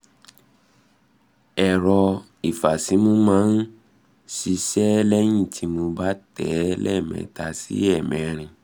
ẹ̀rọ ìfàsímú máa ń ṣiṣẹh lẹ́yìn tí mo bá tẹ̀ ẹ́ lẹ́ẹ̀mẹta sí ẹ̀ẹ̀mẹrin